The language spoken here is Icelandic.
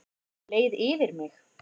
Leið yfir mig?